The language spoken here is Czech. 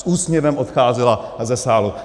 S úsměvem odcházela ze sálu.